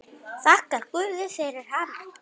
Þakkar guði fyrir hana.